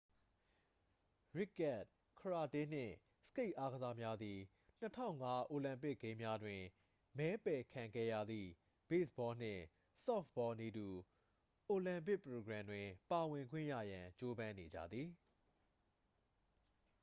ရစ်ကတ် ကရာတေးနှင့် စကိတ်အာကစားများသည် 2005 အိုလံပစ်ဂိမ်းများတွင် မဲပယ်ခံခဲ့ရသည့် ဘေ့စ်ဘောနှင့် ဆော့ဖ်ဘောနည်းတူ အိုလံပစ်ပရိုဂရမ်တွင် ပါဝင်ခွင့်ရရန် ကြိုးပမ်းနေကြသည်